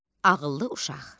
Ağıllı uşaq.